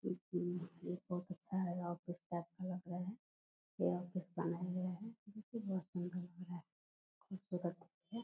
ये बहुत अच्छा है ऑफिस टाइप का लग रहा है। ये ऑफिस खूबसूरत है।